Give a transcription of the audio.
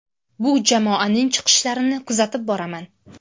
Bu jamoaning chiqishlarini kuzatib boraman.